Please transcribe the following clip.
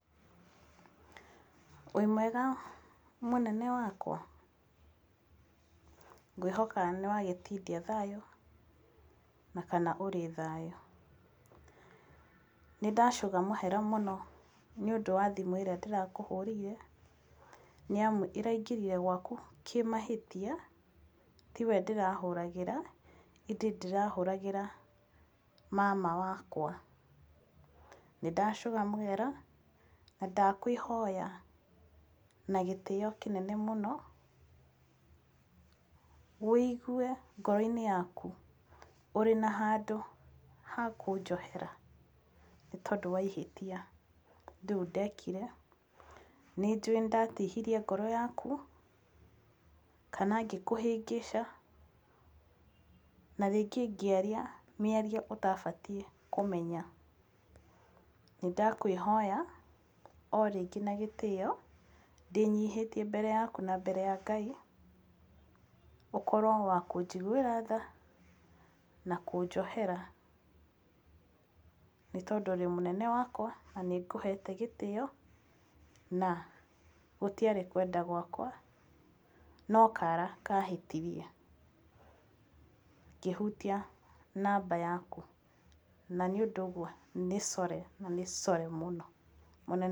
Wĩmwega mũnene wakwa? Ngwĩhoka nĩ wagĩtinda thayũ kana ũrĩ thayũ. Nĩ ndacũga mahera mũno nĩ ũndũ wa thimũ ĩrĩa ndĩrakũhũrĩire nĩ amu ĩraingĩrire gwaku kĩ mahĩtia tiwe ndĩrahũragĩra, ĩndĩ ndĩrahũragĩra mama wakwa. Nĩ ndacũga mũhera na ndakwĩhoya na gĩtĩo kĩnene mũno ũigue ngoro-inĩ yaku ũrĩ na handũ ha kũnjohera nĩ tondũ wa ihĩtia rĩu ndekire. Nĩ njũĩ nĩ ndatihirie ngoro yaku kana ngĩkũhĩngĩca na rĩngĩ ngĩaria mĩario ũtabatiĩ kũmenya. Nĩ ndakwĩhoya o rĩngĩ na gĩtĩo ndĩnyihĩtie mbere yaku na mbere ya Ngai, ũkorwo wa kũnjiguĩra thaa na kũnjohera. Nĩ tondũ ũrĩ o mũnene wakwa na nĩ ngũhete gĩtĩo na gũtiarĩ kwenda gwakwa, no kara kahĩtirie ngĩhutia namba yaku. Na nĩ ũndũ ũguo nĩ sorry na nĩ sorry mũno...